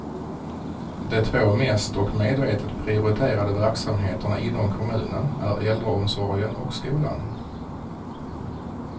De två mest och medvetet prioriterade verksamheterna inom kommunen är äldreomsorgen och skolan.